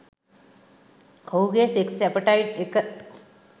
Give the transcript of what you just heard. ඔහුගෙ sex appetite එක